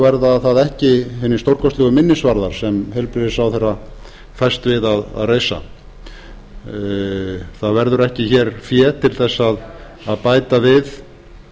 verða það ekki hinir stórkostlegu minnisvarðar sem heilbrigðisráðherra fæst við að reisa það verður ekki fé til að bæta við